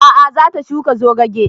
A'a za ta shuka zogake